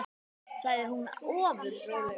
sagði hún ofur rólega.